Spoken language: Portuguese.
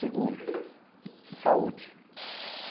Segundo, saúde.